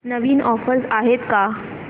नवीन offers आहेत का